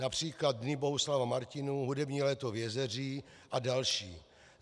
Například Dny Bohuslava Martinů, Hudební léto v Jezeří a další.